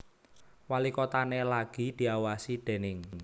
Walikotané lagi diawasi déning